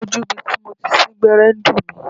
Ojú ibi tí mo ti sín gbẹ́rẹ́ ń dùn mí.